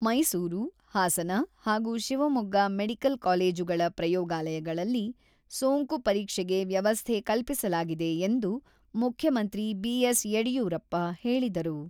ಮೈಸೂರು, ಹಾಸನ ಹಾಗೂ ಶಿವಮೊಗ್ಗ ಮೆಡಿಕಲ್ ಕಾಲೇಜುಗಳ ಪ್ರಯೋಗಾಲಯಗಳಲ್ಲಿ ಸೋಂಕು ಪರೀಕ್ಷೆಗೆ ವ್ಯವಸ್ಥೆ ಕಲ್ಪಿಸಲಾಗಿದೆ ಎಂದು ಮುಖ್ಯಮಂತ್ರಿ ಬಿ.ಎಸ್.ಯಡಿಯೂರಪ್ಪ ಹೇಳಿದರು.